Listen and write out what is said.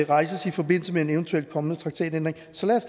rejses i forbindelse med en eventuel kommende traktatændring så lad